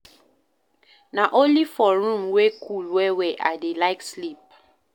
Na only for room wey cool well-well I dey like sleep.